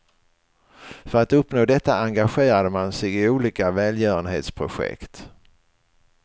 För att uppnå detta engagerade man sig i olika välgörenhetsprojekt.